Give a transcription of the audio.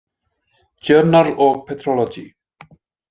Journal og Petrology.